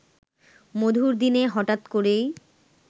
মধুর দিনে হঠাৎ করেই